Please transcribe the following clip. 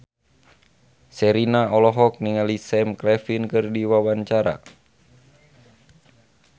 Sherina olohok ningali Sam Claflin keur diwawancara